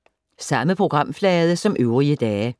Samme programflade som øvrige dage